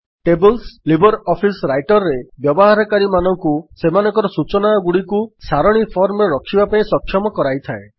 tables LibreOffice Writer ରେ ବ୍ୟବହାରକାରୀମାନଙ୍କୁ ସେମାନଙ୍କର ସୂଚନାଗୁଡ଼ିକୁ ସାରଣୀ ଫର୍ମରେ ରଖିବା ପାଇଁ ସକ୍ଷମ କରିଥାଏ